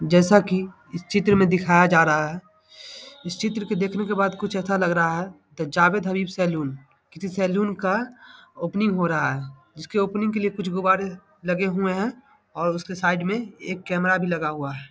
जैसा कि इस चित्र में दिखाया जा रहा है इस चित्र के देखने के बाद कुछ ऐसा लग रहा है द जावेद हबीब सैलून किसी सैलून का ओपनिंग हो रहा है जिसके ओपनिंग के लिए कुछ गुब्बारे लगे हुए है और उसके साइड में एक कैमरा भी लगा हुआ है।